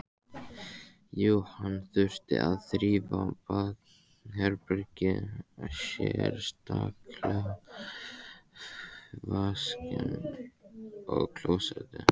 Jú, hann þurfti að þrífa baðherbergið, sérstaklega vaskinn og klósettið.